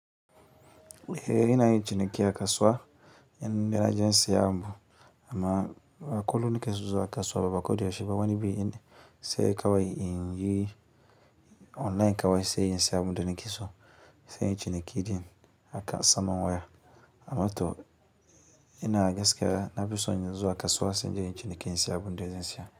Eh inayin ciniki a kasuwa in naje sayen abu amma ba kullun nike son zuwa kasuwa ba ba koda yaushe ba wani bin sai kawai in yi online kawai in saya abunda nikeso, sai inyi ciniki ɗin haka saman waya, amma to, inaga gaskiya nafiso zuwa kasuwa sai inje inyi ciniki insai abunda zan saya.